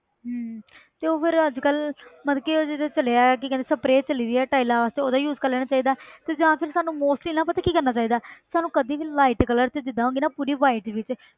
ਹਮ ਤੇ ਉਹ ਫਿਰ ਅੱਜ ਕੱਲ੍ਹ ਮਤਲਬ ਕਿ ਉਹ ਜਿਹੜਾ ਚੱਲਿਆ ਹੈ ਕੀ ਕਹਿੰਦੇ spray ਚੱਲੀ ਆ tiles ਵਾਸਤੇ ਉਹਦਾ use ਕਰ ਲੈਣਾ ਚਾਹੀਦਾ ਹੈ ਤੇ ਜਾਂ ਫਿਰ ਸਾਨੂੰ mostly ਨਾ ਪਤਾ ਕੀ ਕਰਨਾ ਚਾਹੀਦਾ ਹੈ ਸਾਨੂੰ ਕਦੇ ਵੀ light colour 'ਚ ਜਿੱਦਾਂ ਹੋ ਗਈ ਨਾ ਪੂਰੀ white ਵਿੱਚ